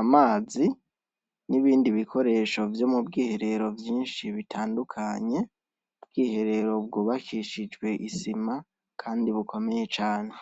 amazi n’ibindi bikoresho vyo mu bwiherero vyinshi bitandukanye. Ubwiherero bwubakishijwe isima kandi bukomeye cane.